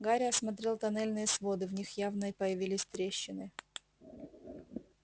гарри осмотрел тоннельные своды в них явно появились трещины